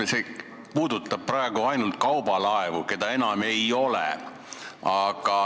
Aga see eelnõu puudutab praegu ainult kaubalaevu, mida meil enam ei ole.